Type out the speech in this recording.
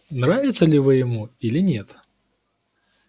нравится ли вы ему или нет